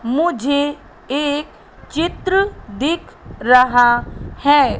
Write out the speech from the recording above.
मुझे एक चित्र दिख रहा है।